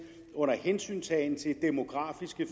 under hensyntagen til demografiske